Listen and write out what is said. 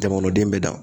Jamanaden bɛɛ dan